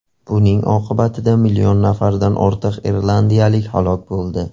Buning oqibatida million nafardan ortiq irlandiyalik halok bo‘ldi.